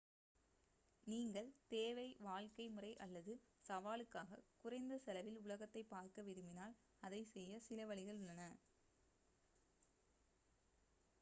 நீங்கள் தேவை வாழ்க்கை முறை அல்லது சவாலுக்காக குறைந்த செலவில் உலகத்தைப் பார்க்க விரும்பினால் அதைச் செய்ய சில வழிகள் உள்ளன